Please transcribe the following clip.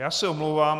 Já se omlouvám.